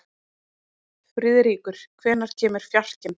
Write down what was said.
Friðríkur, hvenær kemur fjarkinn?